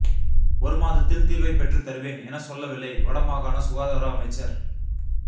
ஒரு மாதத்தில் தீர்வை பெற்றுத்தருவேன் என சொல்லவில்லை வட மாகாண சுகாதார அமைச்சர்